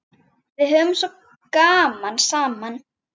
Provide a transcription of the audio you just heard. Við höfðum svo gaman saman.